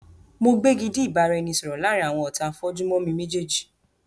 Mo gbégidí ìbáraẹnisọọ̀rọ̀ láàrín àwọn ọ̀tá a fojú mo mi méjèèjì.